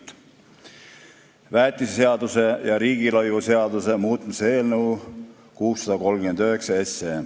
Teie ees on väetiseseaduse ja riigilõivuseaduse muutmise seaduse eelnõu 639.